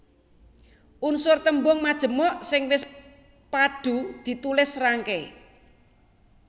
Unsur tembung majemuk sing wis padhu ditulis serangkai